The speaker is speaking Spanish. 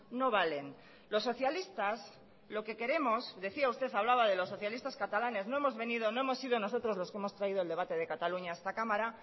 no valen los socialistas lo que queremos decía usted hablaba de los socialistas catalanes no hemos venido no hemos sido nosotros los que hemos traído eldebate de cataluña a esta cámara